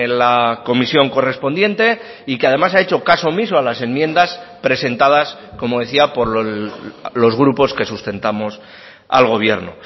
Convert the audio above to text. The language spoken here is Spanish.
la comisión correspondiente y que además ha hecho caso omiso a las enmiendas presentadas como decía por los grupos que sustentamos al gobierno